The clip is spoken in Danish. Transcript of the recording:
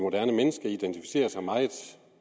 moderne menneske identificerer sig meget